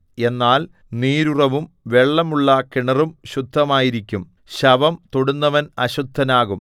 എന്നാൽ നീരുറവും വെള്ളമുള്ള കിണറും ശുദ്ധമായിരിക്കും ശവം തൊടുന്നവൻ അശുദ്ധനാകും